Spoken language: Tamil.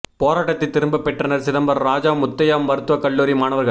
போராட்டத்தைத் திரும்பப் பெற்றனர் சிதம்பரம் ராஜா முத்தையா மருத்துவக் கல்லூரி மாணவர்கள்